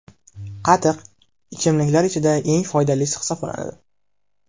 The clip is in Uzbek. Qatiq – ichimliklar ichida eng foydalisi hisoblanadi.